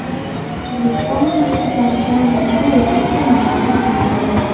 O‘zbekiston maktablariga yangi o‘quv qurilmalari taqdim etildi.